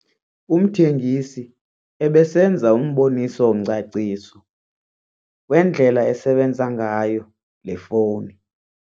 Umthengisi ebesenza umboniso-ngcaciso wendlela esebenza ngayo le fowuni.